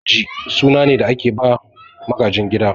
Magaji suna ne da ake bawa magajin gida